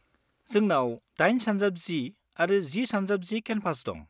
जोंनाव 8x10 आरो 10x10 canvas दं।